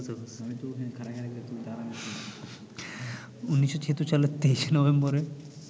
১৯৭৬ সালের ২৩শে নভেম্বরে